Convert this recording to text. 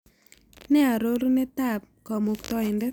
Nee arorunetap Kamuktaindet